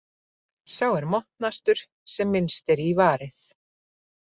Sá er montnastur sem minnst er í varið.